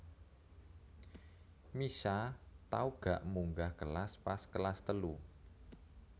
Mischa tau gak munggah kelas pas kelas telu